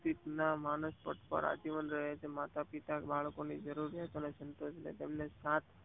seat ના માનસ પટપરા જીવન રહે છે માતા પિતા બાળકોની જરૂરિયાત અને સંતોષ માં તેમને સાથ